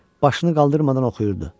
Başını qaldırmadan oxuyurdu.